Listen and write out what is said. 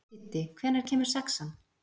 Siddi, hvenær kemur sexan?